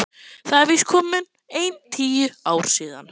Það eru víst komin ein tíu ár síðan.